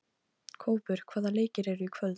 Kópur, hvaða leikir eru í kvöld?